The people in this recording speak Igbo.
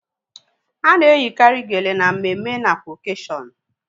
Ana eyikari geele na mmemme nakwa okashion